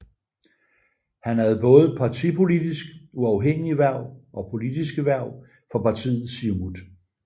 Han havde både partipolitisk uafhængige hverv og politiske hverv for partiet Siumut